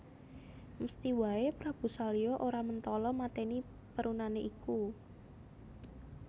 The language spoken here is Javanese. Mesthi wae Prabu Salya ora mentala mateni perunane iku